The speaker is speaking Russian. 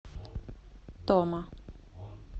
тома